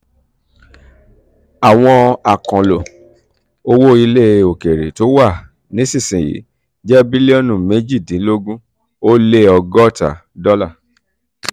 àwọn àkànlò owó ilẹ̀ òkèèrè tó wà nísinsìnyí jẹ́ bílíọ̀nù méjìdínlógún ó lé ọgọ́ta [19600000000] dọ́là.